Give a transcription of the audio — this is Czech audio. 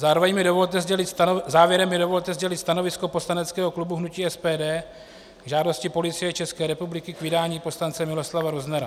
Závěrem mi dovolte sdělit stanovisko poslaneckého klubu hnutí SPD k žádosti Policie České republiky k vydání poslance Miloslava Roznera.